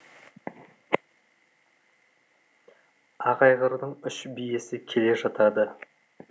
ақ айғырдың үш биесі келе жатады